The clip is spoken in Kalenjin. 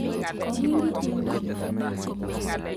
Iwendi tumdo?